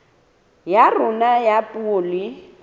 ya rona ya puo le